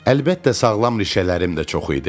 Əlbəttə, sağlam rişələrim də çox idi.